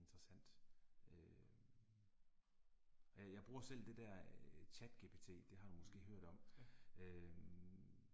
Interessant. Øh. Øh jeg bruger selv det der øh chatGPT det har du måske hørt om øh